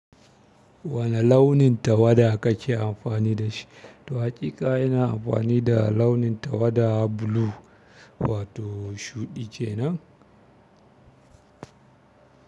Wani launin tawada kake amfani da shi? To hakika ina amfani da launin tawada blue wato shuɗi kenan.